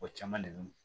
O caman de